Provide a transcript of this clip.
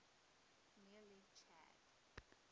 near lake chad